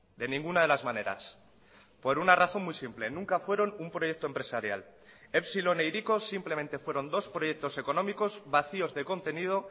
de ninguna de las maneras por una razón muy simple nunca fueron un proyecto empresarial epsilon e hiriko simplemente fueron dos proyectos económicos vacíos de contenido